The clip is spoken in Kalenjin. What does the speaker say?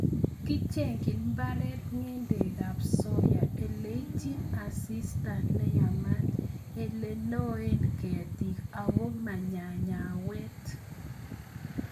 Kicheng'yin mbaret ng'endekab soya ileityin asista neyamat, ile loen ketik ago manyanyayawet.